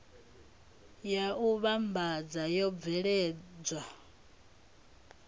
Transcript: ya u vhambadza yo bveledzwa